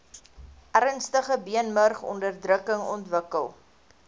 ernstige beenmurgonderdrukking ontwikkel